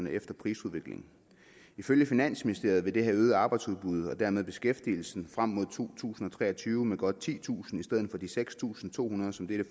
efter prisudviklingen ifølge finansministeriet ville det have øget arbejdsudbuddet og dermed beskæftigelsen frem mod to tusind og tre og tyve med godt titusind i stedet for de seks tusind to hundrede som dette